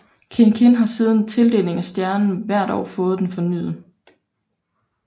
Kiin Kiin har siden tildelingen af stjernen hvert år fået den fornyet